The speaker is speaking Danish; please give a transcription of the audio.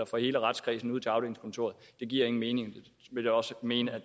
fra hele retskredsen ud til afdelingskontoret giver ingen mening jeg vil også mene at